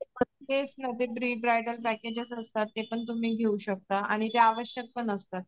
Bridal packages असतात ते पण तुम्ही घेऊ शकता आणि ते आवश्यक पण असतात.